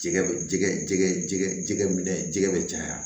Jɛgɛ bɛ jɛgɛ jɛgɛ jɛgɛ jɛgɛ minɛ jɛgɛ bɛ caya